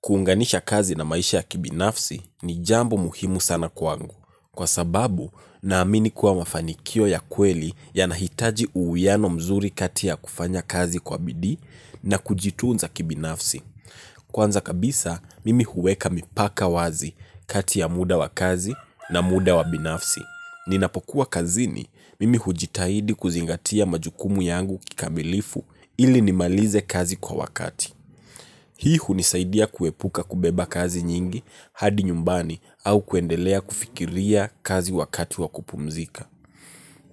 Kuunganisha kazi na maisha ya kibinafsi ni jambo muhimu sana kwangu. Kwa sababu, naamini kuwa mafanikio ya kweli yanahitaji uiano mzuri kati ya kufanya kazi kwa bidii na kujitunza kibinafsi. Kwanza kabisa, mimi huweka mipaka wazi kati ya muda wa kazi na muda wa binafsi. Ninapokuwa kazini, mimi hujitahidi kuzingatia majukumu yangu kikamilifu ili nimalize kazi kwa wakati. Hii hunisaidia kuepuka kubeba kazi nyingi hadi nyumbani au kuendelea kufikiria kazi wakati wa kupumzika.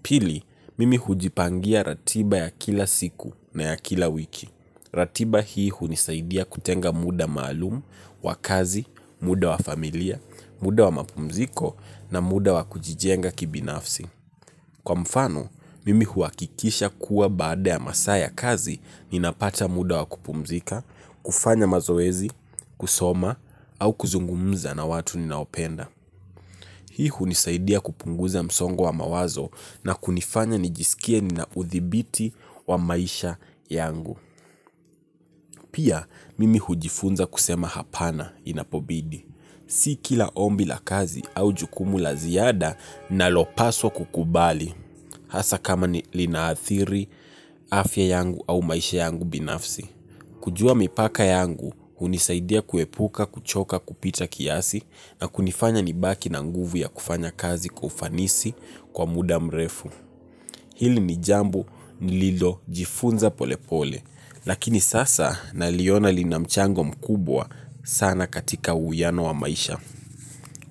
Pili, mimi hujipangia ratiba ya kila siku na ya kila wiki. Ratiba hii hunisaidia kutenga muda maalumu, wa kazi, muda wa familia, muda wa mapumziko na muda wa kujijenga kibinafsi. Kwa mfano, mimi huakikisha kuwa baada ya masaa ya kazi ninapata muda wa kupumzika, kufanya mazoezi, kusoma, au kuzungumza na watu ninaopenda. Hii hunisaidia kupunguza msongo wa mawazo na kunifanya nijisikie ninauthibiti wa maisha yangu. Pia, mimi hujifunza kusema hapana inapobidi. Si kila ombi la kazi au jukumu la ziada nalopaswa kukubali, hasa kama ni linaathiri, afya yangu au maisha yangu binafsi. Kujua mipaka yangu, hunisaidia kuepuka, kuchoka, kupita kiasi, na kunifanya nibaki na nguvu ya kufanya kazi kwa ufanisi kwa muda mrefu. Hili ni jambo nililojifunza polepole lakini sasa naliona lina mchango mkubwa sana katika uiano wa maisha.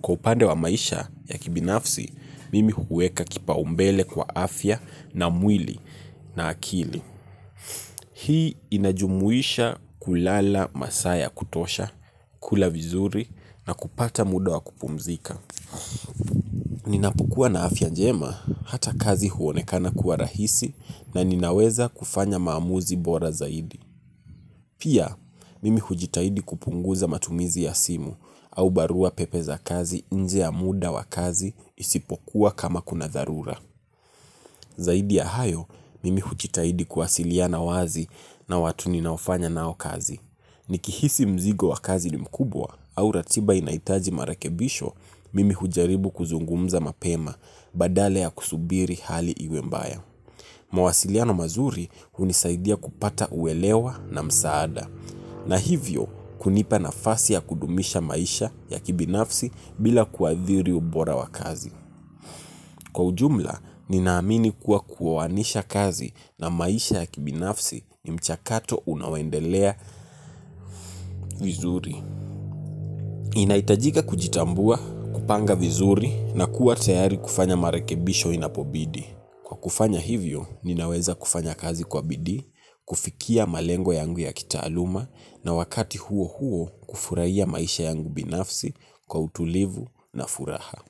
Kw upande wa maisha ya kibinafsi, mimi huweka kipaumbele kwa afya na mwili na akili. Hii inajumuisha kulala masaa ya kutosha, kula vizuri na kupata muda wa kupumzika. Ninapokua na afia njema hata kazi huonekana kuwa rahisi na ninaweza kufanya maamuzi bora zaidi. Pia mimi hujitahidi kupunguza matumizi ya simu au barua pepe za kazi nje ya muda wa kazi isipokuwa kama kuna dharura. Zaidi ya hayo, mimi huchitaidi kuwasiliana wazi na watu ninaofanya nao kazi. Nikihisi mzigo wa kazi ni mkubwa au ratiba inahitaji marekebisho mimi hujaribu kuzungumza mapema badala ya kusubiri hali iwe mbaya. Mawasiliano mazuri hunisaidia kupata uelewa na msaada. Na hivyo, kunipa nafasi ya kudumisha maisha ya kibinafsi bila kuadhiri ubora wa kazi. Kwa ujumla, ninaamini kuwa kuwawanisha kazi na maisha ya kibinafsi ni mchakato unaoendelea vizuri. Inaitajika kujitambua, kupanga vizuri na kuwa tayari kufanya marekebisho inapobidi. Kwa kufanya hivyo, ninaweza kufanya kazi kwa bidii, kufikia malengo yangu ya kitaaluma na wakati huo huo kufurahia maisha yangu binafsi kwa utulivu na furaha.